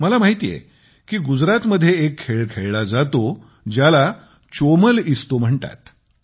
मला माहिती आहे की गुजरातमध्ये एक खेळ खेळला जातो ज्याला चोमल इस्तो म्हणतात